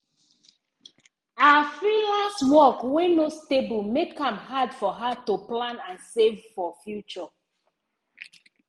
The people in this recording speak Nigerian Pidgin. her freelance work wey no stable make am hard for her to plan and save for future.